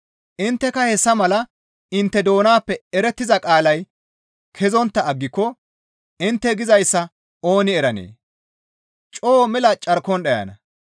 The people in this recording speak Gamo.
Intteka hessa mala; intte doonappe erettiza qaalay kezontta aggiko intte gizayssa ooni eranee? Coo mela carkon dhayana.